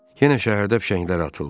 Yenə şəhərdə fişənglər atıldı.